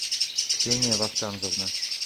ксения вахтанговна